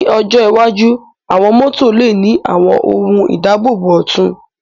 Ní ọjọ́ iwájú, àwọn mọ́tò lè ní àwọn ohun ìdáàbòbò ọ̀tun